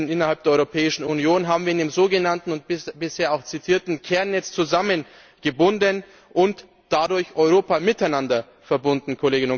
innerhalb der Europäischen Union haben wir in dem sogenannten und bisher auch zitierten Kernnetz zusammengebunden und dadurch Europa miteinander verbunden.